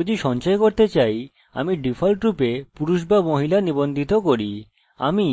উদাহরণস্বরূপ যদি আমি সবকিছু সঞ্চয় করতে চাই আমি ডিফল্টরূপে পুরুষ বা মহিলা নিবন্ধিত করি আমি